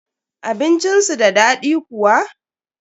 Abincin su da daɗi kuwa?